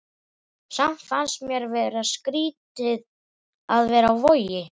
Samt fannst mér skrýtið að vera á Vogi.